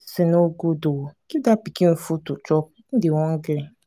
dis thing no good oo. give dat pikin food to chop he dey hungry.